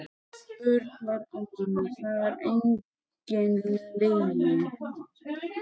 Örn var einmana, það var engin lygi.